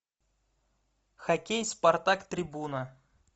хоккей спартак трибуна